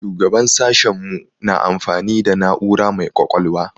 Shugaban sashen mu na amfani da na'ura mai ƙwaƙwalwa.